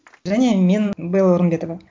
және мен белла орынбетова